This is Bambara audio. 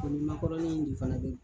O ni makɔrɔnin de fana